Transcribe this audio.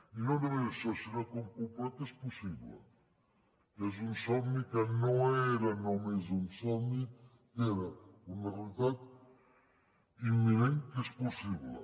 i no només això sinó que hem comprovat que és possible que és un somni que no era només un somni que era una realitat imminent que és possible